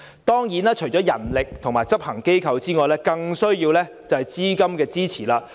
當然，除了人力及執行機構外，更需要的是資金的支持。